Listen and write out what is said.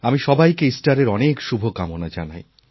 আমি সবাইকে ইস্টারের অনেক শুভকামনা জানাই